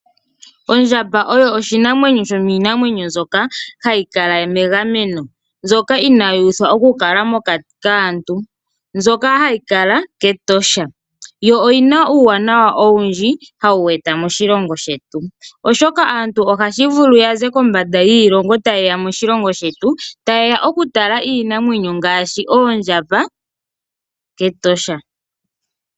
Ondjamba oyo oshinamwenyo shomiinamwenyo mbyoka hayi kala megameno ,mbyoka inaayi uthwa okukala mokati kaantu ,mbyoka hayi kala kEtosha yo oyina uuwanawa owundji hayi eta moshilongo shetu. Oshoka aantu ohaya vulu yaze kondje yiilongo taye ya moshilongo shetu ta yeya okutala oondjamba kEtosha.